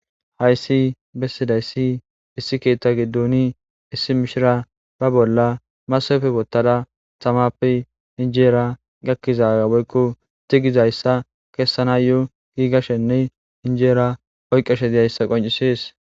Hayssi bessidayssi issi keetta giddoni issi mishira ba bolla masafe bottada tamappe injeera gakkizaa boykko tigizayssa keessana yo giigashenne injeera oyqqeshe diyayssa qoncises.